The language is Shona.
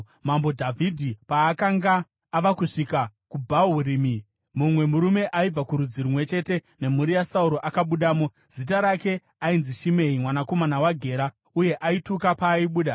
Mambo Dhavhidhi paakanga ava kusvika kuBhahurimi, mumwe murume aibva kurudzi rumwe chete nemhuri yaSauro akabudamo. Zita rake ainzi Shimei mwanakomana waGera, uye aituka paaibuda.